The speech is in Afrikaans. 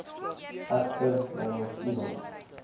egter namens iemand